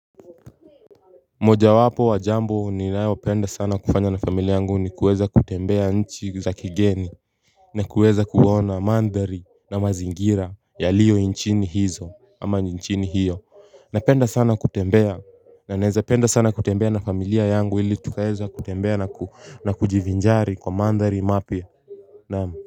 Moja wapo wa jambo ninayo penda sana kufanya na familia yangu ni kuweza kutembea nchi za kigeni na kuweza kuona mandhari na mazingira yaliyo nchini hizi ama nchini hiyo na penda sana kutembea na naeza penda sana kutembea na familia yangu ili tukaeza kutembea na kujivinjari kwa mandhari mapya naam.